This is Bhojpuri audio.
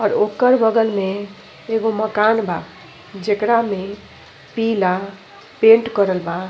और ओकर बगल में मकान बा जेकरा में पीला पेंट करल बा।